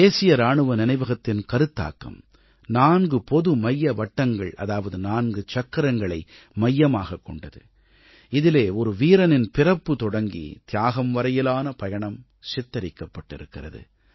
தேசிய இராணுவ நினைவகத்தின் கருத்தாக்கம் 4 பொதுமைய வட்டங்கள் அதாவது 4 சக்கரங்களை மையமாகக் கொண்டது இதிலே ஒரு வீரனின் பிறப்பு தொடங்கி தியாகம் வரையிலான பயணம் சித்தரிக்கப்பட்டிருக்கிறது